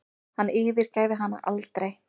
Hann yfirgæfi hana aldrei.